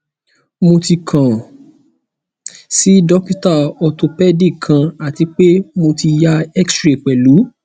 mo ti kan si dokita orthopedic kan ati pe mo ti ya xray pẹlu